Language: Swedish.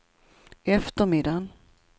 eftermiddagen